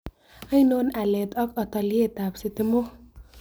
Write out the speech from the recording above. Ainon aleet ak altayeetaab sitimok